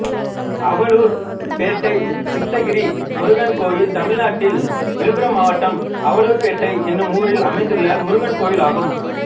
அவலூர்பேட்டை சித்தகிரி முருகன் கோயில் தமிழ்நாட்டில் விழுப்புரம் மாவட்டம் அவலூர்பேட்டை என்னும் ஊரில் அமைந்துள்ள முருகன் கோயிலாகும்